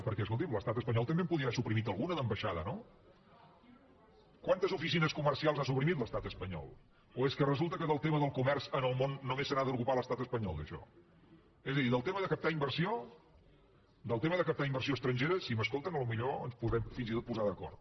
perquè escolti’m l’estat espanyol també en podia haver suprimit alguna d’ambaixada no quantes oficines comercials ha suprimit l’estat espanyol o és que resulta que del tema del comerç en el món només se n’ha d’ocupar l’estat espanyol d’això és a dir del tema de captar inversió del tema de captar inversió estrangera drem fins i tot posar d’acord